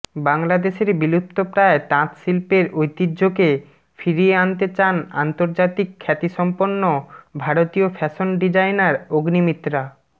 বাংলাদেশের বিলুপ্তপ্রায় তাঁত শিল্পের ঐতিহ্যকে ফিরিয়ে আনতে চান আন্তর্জাতিক খ্যাতিসম্পন্ন ভারতীয় ফ্যাশন ডিজাইনার অগ্নিমিত্রা